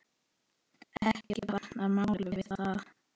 Ekki batnar málið við það.